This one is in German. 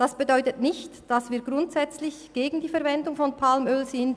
Das bedeutet nicht, dass wir grundsätzlich gegen die Verwendung von Palmöl sind.